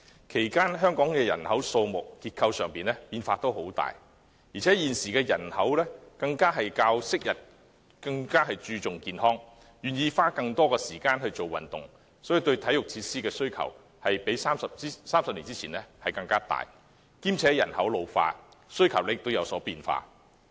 其間，香港人口數目及結構出現很大變化，而且現今市民較昔日更注重健康，願意花更多時間做運動，對體育設施的需求比30年前大；加上人口老化，需求亦有所變化。